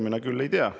Mina küll ei tea.